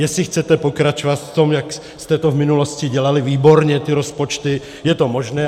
Jestli chcete pokračovat v tom, jak jste to v minulosti dělali výborně, ty rozpočty, je to možné.